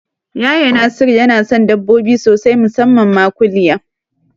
Yaya Nasiru yana son dabbobi sosai musamman ma kuliya